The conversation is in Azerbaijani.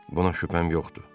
Buna şübhəm yoxdur.